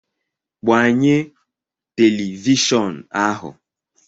gbanye telivishọn ahu